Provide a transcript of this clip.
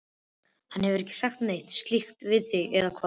Hann hefur ekki sagt neitt slíkt við þig, eða hvað?